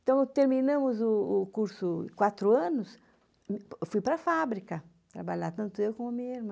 Então, terminamos o o curso de quatro anos, eu fui para a fábrica trabalhar, tanto eu como a minha irmã.